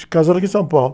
E casaram aqui em São Paulo.